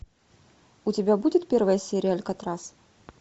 у тебя будет первая серия алькатрас